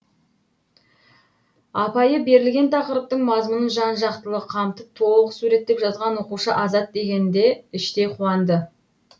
апайы берілген тақырыптың мазмұнын жан жақтылы қамтып толық суреттеп жазған оқушы азат дегенде іштей қуанды